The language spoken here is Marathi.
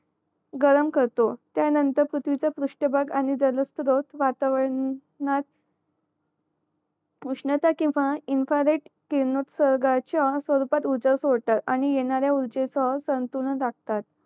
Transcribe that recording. गरम करतो त्या नंतर पृथ्वीका पृष्ठभाग आणि दरस्थ वातावर अं णात उष्णता किंवा इन्फारेट किरणो उत्सर्गाच्या रूपात ऊर्जा सोडतो आणि येणाऱ्या ऊर्जेचं संतुलन राखतात